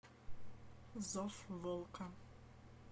зов волка